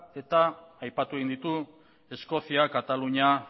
eta aipatu egin dute eskozia katalunia